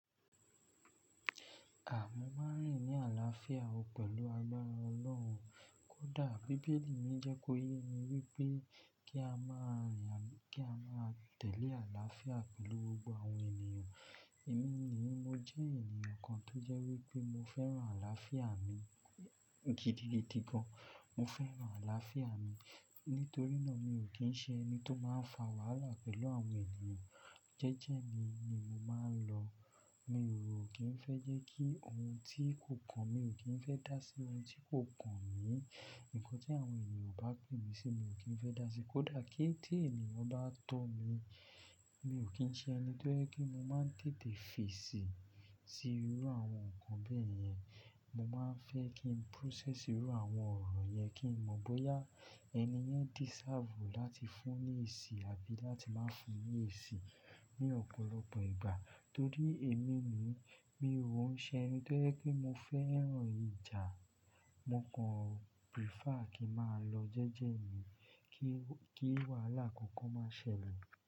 Àma máà n rìn ní àlàáfíà o pẹ̀lú agbara Ọlọ́run. Kódà Bíbélì yín jẹ́ kó yé wa wípé kí a má a tẹ̀lé àlàáfíà pẹ̀lú gbogbo àwọn ènìyàn. Èmi yii mo jẹ́ eeyàn kan tó jẹ́ wípé mo fẹ́ràn àlàáfíà mi gidi gidi gan an. Mo fẹ́ràn àlàáfíà mi nítorí náà mi ò kí ń ṣe ẹni tó máa ń fa wàhálà pẹ̀lú àwọn ènìyàn. Jẹ́jẹ́ mi ni mo máa ń lọ. Mi ó kí ń fé jẹ kí òun tí kò kàn mí, mí kí ń fé dá sí òun tí kò kàn mí. Nkan tí àwọn ènìyàn ó bá pè mí sí, mí ó kí ń fé dá sí, kódà kí ń tí ènìyàn bá tó mi, mi ó kí ń ṣe ẹni tó jẹ ìpè mo máa tètè fèsì sì irú àwọn nkan bẹẹ yẹn. Mo máa ń fẹ́ kí n process irú àwọn ọ̀rọ̀ yẹn, kí n mọ bóyá ẹni yẹn deserve láti fún ní èsì àbí láti máa fún ní èsì ní ọ̀pọ̀lọpọ̀ ìgbà. Torí èmi ni mi ò ń ṣe ẹni tó yẹ́ pé mo fẹ́ràn ìjà. Mo kàn prefer kí ń máa lọ jẹ́jẹ́ mi kí wàhálà kankan máa ṣẹlẹ̀.